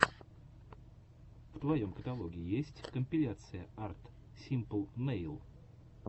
в твоем каталоге есть компиляция арт симпл нэйл